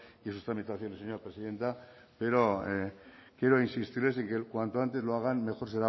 y sus tramitaciones señora presidenta pero quiero insistirles en que cuanto antes lo hagan mejor